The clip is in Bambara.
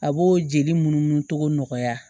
A b'o jeli munnu tɔgɔ nɔgɔya